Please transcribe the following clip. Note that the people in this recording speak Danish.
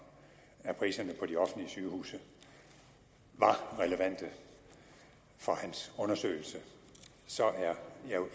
af priserne på de offentlige sygehuse var relevante for hans undersøgelse